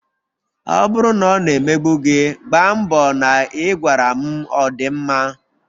Ọ bụrụ na ọ na-emegbu gi, gbaa mbọ na ị gwara m ọ dị mma?